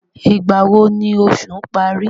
Ìgbà wo ni oṣù parí?